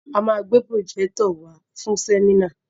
A máa gbé pròjẹ́tọ̀ wàá fún sẹ́mínà.